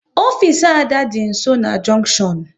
Ofisi Ada dị nsọ na junktion